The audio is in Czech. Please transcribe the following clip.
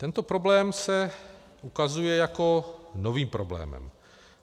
Tento problém se ukazuje jako nový problém.